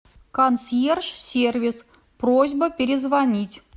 консьерж сервис просьба перезвонить